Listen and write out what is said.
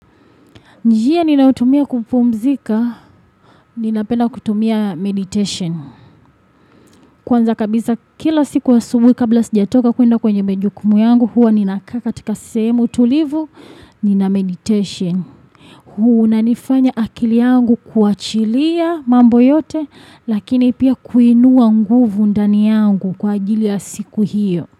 Njia ninaotumia kupumzika, ninapenda kutumia meditation. Kwanza kabisa kila siku asubuhi kabla sijatoka kuenda kwenye majukumu yangu, huwa ninakaa katika sehemu tulivu, nina meditation. Hunanifanya akili yangu kuachilia mambo yote, lakini pia kuinua nguvu ndani yangu kwa ajili ya siku hiyo.